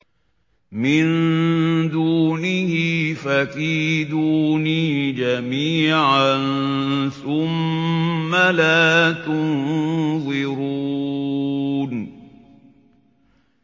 مِن دُونِهِ ۖ فَكِيدُونِي جَمِيعًا ثُمَّ لَا تُنظِرُونِ